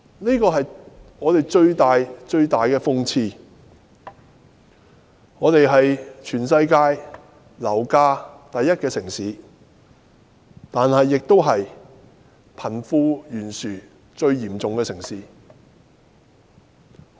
這是香港最大的諷刺。香港是全世界樓價最高的城市，但同時亦是貧富懸殊最嚴重的城市。